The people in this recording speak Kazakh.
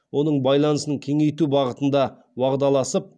оның байланысын кеңейту бағытына уағдаласып